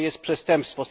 To jest przestępstwo.